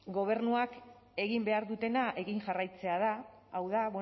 gobernuak egin behar duena egin jarraitzea da hau da